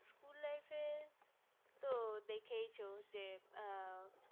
school life এ তো দেখেছ যে এ আ